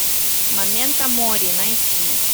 моменто мори найти